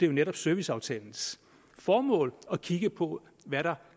jo netop serviceaftalens formål at kigge på hvad der